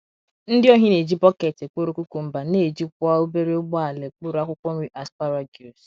Ndị ohi na - eji bọket ekporo cucumber, na - ejikwa obere ụgbọala ekporo akwụkwọ nri asparagus.